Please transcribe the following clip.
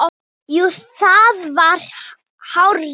Jú, það er hárrétt